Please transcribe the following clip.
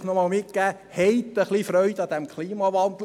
Haben Sie ein wenig Freude am Klimawandel.